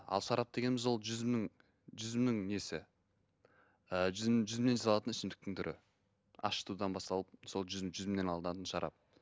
ал шарап дегеніміз ол жүзімнің жүзімнің несі і жүзім жүзімнен жасалатын ішімдіктің түрі ашытудан басталып сол жүзім жүзімнен алынатын шарап